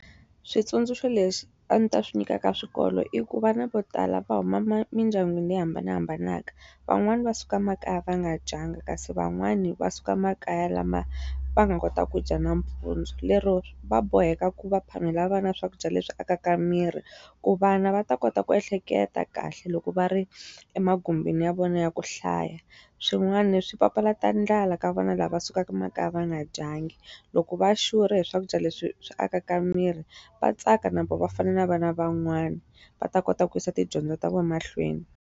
Switsundzuxo leswi a ndzi ta swi nyikaka swikolo i ku vana vo tala va huma mindyangwini leyi hambanahambanaka. Van'wani va suka makaya va nga dyanga kasi van'wani va suka makaya lama va nga kota ku dya nampundzu. Lero va boheka ku va phamela vana swakudya leswi akaka miri, ku vana va ta kota ku ehleketa kahle loko va ri emagumbini ya vona ya ku hlaya. Swin'wana ni swi papalata ndlala ka vana lava sukaka makaya va nga dyanga. Loko va xurhe hi swakudya leswi swi akaka miri, va tsaka na vona va fana na vana van'wani. Va ta kota ku yisa tidyondzo ta vona emahlweni.